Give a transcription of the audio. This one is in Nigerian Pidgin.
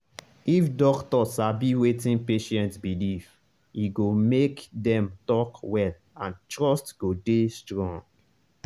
if doctor sabi wetin patient believe e go make dem talk well and trust go dey strong.